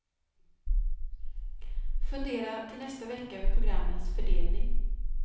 Fundera till nästa vecka över programmens fördelning.